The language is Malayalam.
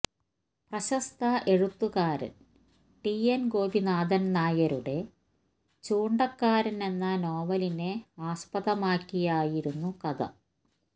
പ്രശസ്ത എഴുത്തുകാരൻ ടി എൻ ഗോപിനാഥൻ നായരുടെ ചൂണ്ടക്കാരൻ എന്ന നോവലിനെ ആസ്പദമാക്കിയായിരുന്നു കഥ